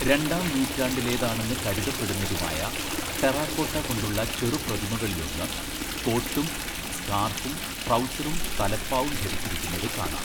രണ്ടാം നൂറ്റാണ്ടിലേതാണെന്ന് കരുതപ്പെടുന്നതുമായ ടെറാക്കോട്ട കൊണ്ടുളള ചെറുപ്രതിമകളിലൊന്ന്, കോട്ടും സ്കാർഫും ട്രൗസറും തലപ്പാവും ധരിച്ചിരിക്കുന്നത് കാണാം.